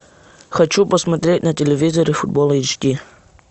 хочу посмотреть на телевизоре футбол эйч ди